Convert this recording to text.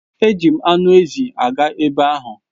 Eji m anụ ezi aga ebe ahụ.